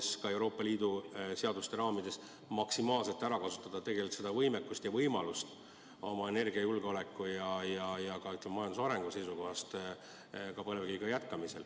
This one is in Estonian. Me võiks ka Euroopa Liidu seaduste raamides maksimaalselt seda võimekust ära kasutada ja võimaluste piires oma energiajulgeoleku ja majanduse arengu huvides põlevkiviga jätkata.